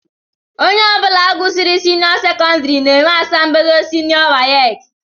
Ónyé ọbula gụsịrị seniô sekondari na -enwe asambodo seniô wace.